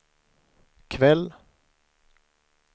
kväll